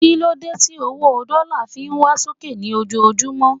kílódé ti owó dọ́là fi ń wá sókè ní ojojumọ